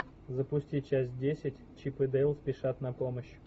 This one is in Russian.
запусти часть десять чип и дейл спешат на помощь